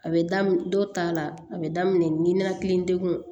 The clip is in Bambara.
A bɛ daminɛ dɔw ta la a bɛ daminɛ ninakili degun